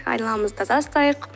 айналамызды таза ұстайық